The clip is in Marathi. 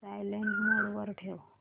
सायलेंट मोड वर ठेव